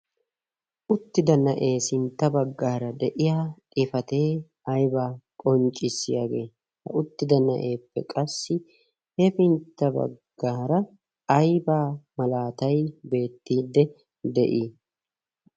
uttida na'ee sintta baggaara de'iya xifatee aybaa qonccissiyaagee ha uttida na'eeppe qassi hefintta baggaara aybaa malaatay beettiidde de'ii?